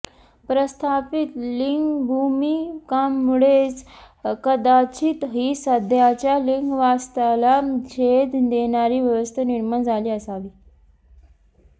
प्रस्थापित लिंगभूमिकांमुळेच कदाचित ही सध्याच्या लिंगवास्तवाला छेद देणारी व्यवस्था निर्माण झाली असावी